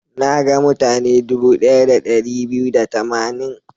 Na ga mutane dubu ɗaya da ɗari biyu da tamanin.